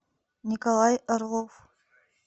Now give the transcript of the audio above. николай орлов